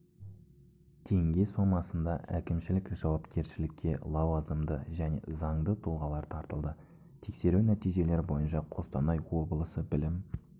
теңге сомасында әкімшілік жауапкершілікке лауазымды және заңды тұлғалар тартылды тексеру нәтижелері бойынша қостанай облысы білім